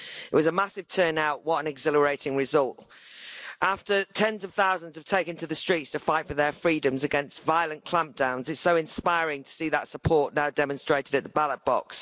It was a massive turnout, what an exhilarating result! After tens of thousands have taken to the streets to fight for their freedoms against violent clampdowns it's so inspiring to see that support now demonstrated at the ballot box.